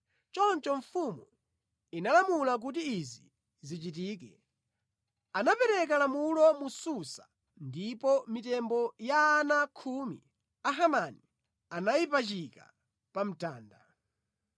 Choncho mfumu inalamula kuti izi zichitike. Anapereka lamulo mu Susa ndipo mitembo ya ana khumi a Hamani anayipachika pa mtanda.